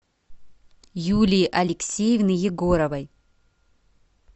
юлии алексеевны егоровой